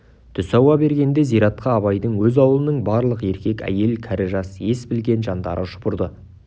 түс ауа бергенде зиратқа абайдың өз аулының барлық еркек-әйел кәрі-жас ес білген жандары шұбырды